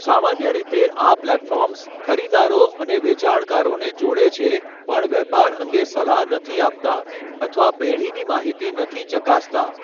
સામાન્ય રીતે, આ પ્લેટફોર્મ્સ ખરીદદારો અને વેચાણકારોને જોડે છે પણ વેપાર અંગે સલાહ નથી આપતા અથવા પેઢીની માહિતી નથી ચકાસતા.